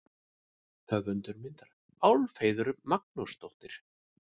Höfundur myndar: Álfheiður Magnúsdóttir.